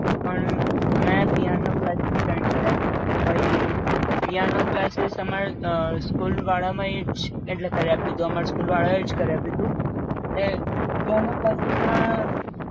પણ મે piano classes join કર્યા પઈ પિઆનો ક્લાસીસ અમારે અ school વાળા માએ જ કરી આપ્યુંતુ અમાર school વાળા એ જ કરી આપ્યુંતુ. એ પિઆનો ક્લાસીસ માં